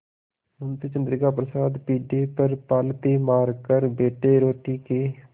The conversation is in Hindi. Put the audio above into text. मुंशी चंद्रिका प्रसाद पीढ़े पर पालथी मारकर बैठे रोटी के